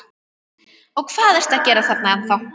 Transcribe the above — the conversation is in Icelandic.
Og hvað ertu að gera þarna ennþá?